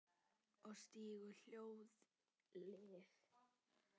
Og stígur hjólið.